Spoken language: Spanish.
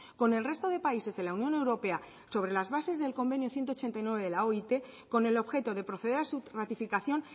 con el resto de países de la unión europea sobre las bases del convenio ciento ochenta y nueve de la oit con el objeto de proceder a su ratificación